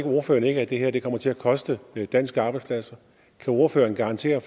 ordføreren ikke at det her kommer til at koste danske arbejdspladser kan ordføreren garantere